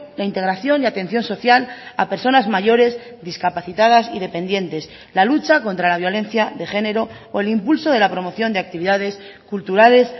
la integración y atención social a personas mayores discapacitadas y dependientes la lucha contra la violencia de género o el impulso de la promoción de actividades culturales